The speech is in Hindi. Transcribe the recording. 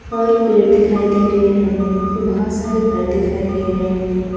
और पेड़ दिखाई दे रहे हैं हमें बहुत सारे घर दिखाई दे रहे हैं हमें।